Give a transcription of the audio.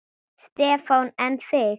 Stefán: En þig?